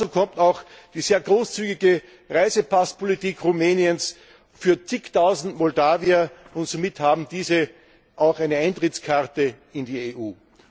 Dazu kommt auch die sehr großzügige Reisepasspolitik Rumäniens für zigtausend Moldawier, und somit haben diese auch eine Eintrittskarte in die EU.